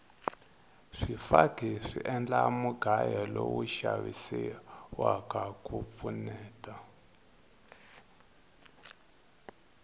swifaki swi endla mugayo lowu xavisiwaka ku pfuneta